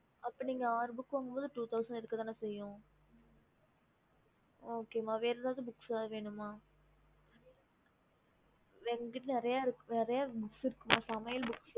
அப்போ நீங்க ஆறு books வாங்கும் போது two thousand இருக்கத்தானே செய்யும் okay ம வேற எதாவது books வேணுமா எங்க கிட்ட நெறைய books ல இருக்குமா சமையல் books